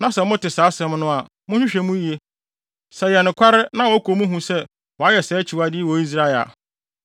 na sɛ mote saa asɛm no a, monhwehwɛ mu yiye. Sɛ ɛyɛ nokware na wɔkɔ mu hu sɛ wɔayɛ saa akyiwade yi wɔ Israel a,